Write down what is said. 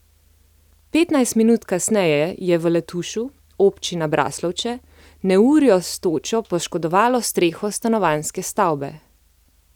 Petnajst minut kasneje je v Letušu, občina Braslovče, neurje s točo poškodovalo streho stanovanjske stavbe.